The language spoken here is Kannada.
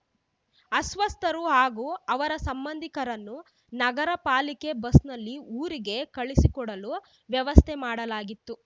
ಅಸ್ವಸ್ಥರು ಹಾಗೂ ಅವರ ಸಂಬಂಧಿಕರನ್ನು ನಗರ ಪಾಲಿಕೆ ಬಸ್‌ನಲ್ಲಿ ಊರಿಗೆ ಕಳುಹಿಸಿಕೊಡಲು ವ್ಯವಸ್ಥೆ ಮಾಡಲಾಗಿತ್ತು